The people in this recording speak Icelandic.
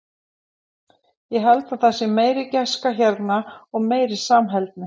Ég held að það sé meiri gæska hérna og meiri samheldni.